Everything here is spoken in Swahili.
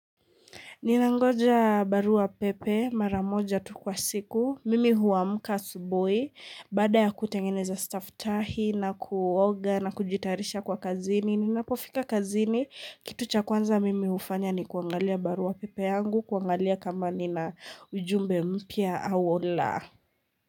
Ninangoja barua pepe mara moja tu kwa siku. Mimi huamka asubui. Baada ya kutengeneza staftahi na kuoga na kujiyatarisha kwa kazini. Ninapofika kazini, Kitu chakwanza mimi hufanya ni kuangalia barua pepe yangu. Kuangalia kama nina ujumbe mpya au laa.